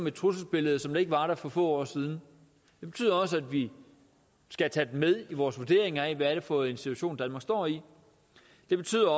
et trusselsbillede som ikke var der for få år siden det betyder også at vi skal tage dem med i vores vurdering af hvad det er for en situation danmark står i det betyder